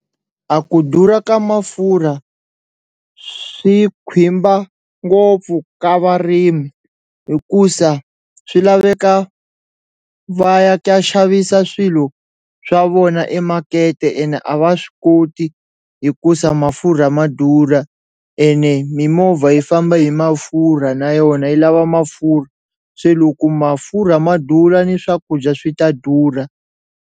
A ku durha ka mafurha swi ngopfu ka varimi hikusa swi laveka va ya xavisa swilo swa vona ema makete ene a va swi koti hikusa mafurha ma durha ene mimovha yi famba hi mafurha na yona yi lava mafurha se loko mafurha ma durha ni swakudya swi ta durha.